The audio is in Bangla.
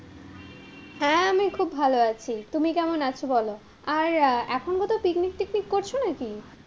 হ্যাঁ, আমি খুব ভালো আছি, তুমি কেমন আছো বলো? আর এখন কোথাও picnic টিকনিক করছো নাকি?